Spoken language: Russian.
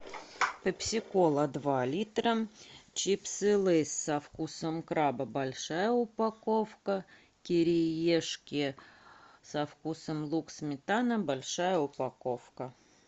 пепси кола два литра чипсы лейс со вкусом краба большая упаковка кириешки со вкусом лук сметана большая упаковка